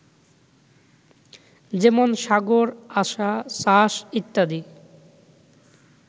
যেমন সাগর, আসা, চাষ, ইত্যাদি